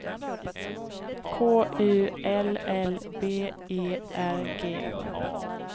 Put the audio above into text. K U L L B E R G